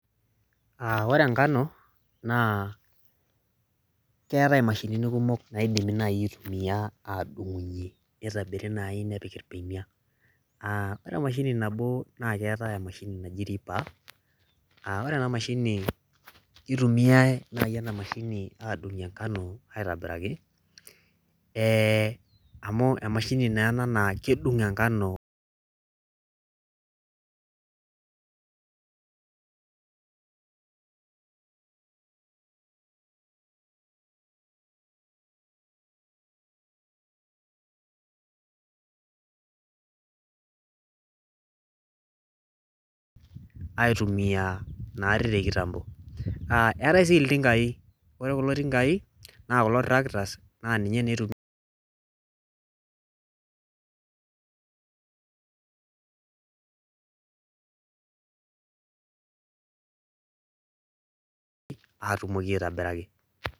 Ore enkano naa keetae imashinini kumok naidimi nayii aitumia aadung'unyie neitobiri nayii nepiki ibeniak ore emashini naboo naa ketea emashini naji riba ore enamashini keitumiyai naii enamashini afung'unyie enkano aitobiraki amu emashini naa ena naa kedung' enkano aitumia naarii te kitambo eetae sii iltingai ore kulo tingai naa kulo tractors naa ninye naa eitumiay aruumoki aitobiraki